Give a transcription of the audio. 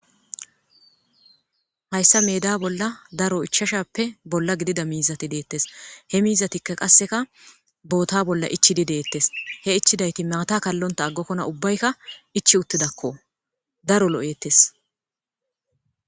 hayssa meda bolla daro ichashappe bolla gidida miizati deettes he miizatikka qasseka boota bolla ichidi deettes he ichidayti maata kallonta aggokkona ubbaykka ichi uttidakko daro lo'eettes